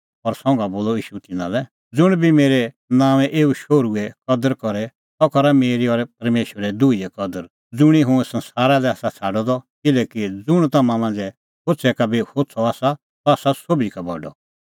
संघा बोलअ ईशू तिन्नां लै ज़ुंण बी मेरै नांओंऐं एऊ शोहरूए कदर करे सह करा मेरी और परमेशरे दुहीए कदर ज़ुंणी हुंह संसारा लै आसा छ़ाडअ द किल्हैकि ज़ुंण तम्हां मांझ़ै होछ़ै का बी होछ़अ आसा सह आसा सोभी का बडअ